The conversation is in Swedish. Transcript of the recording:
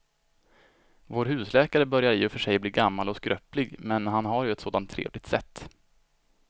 Vår husläkare börjar i och för sig bli gammal och skröplig, men han har ju ett sådant trevligt sätt!